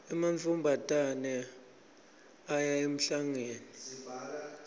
emantfombatane aya emhlangeni